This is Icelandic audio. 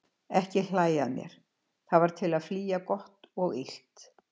Ekki hlæja að mér: það var til að flýja gott og illt.